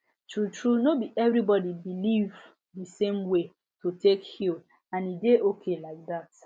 true true no be everybody believe the same way to take healand e dey okay like that